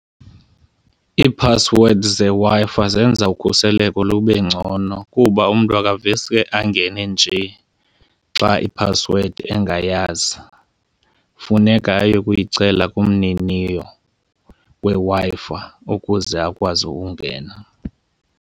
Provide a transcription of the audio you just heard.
Iiphasiwedi zeWi-Fi zenza ukhuseleko lube ngcono kuba umntu akaveske angene nje xa iphasiwedi engayazi. Funeka ayokuyicela kumniniyo weWi-Fi ukuze akwazi ungena.